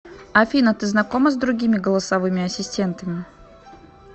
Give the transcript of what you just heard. афина ты знакома с другими голосовыми ассистентами